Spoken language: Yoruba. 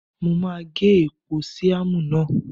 Mo máa gé èpò síámù náà.